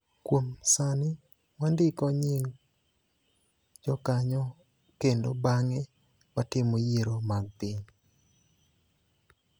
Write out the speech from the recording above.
Kuom sani, wandiko nying� jokanyo kendo bang�e watimo yiero mag piny.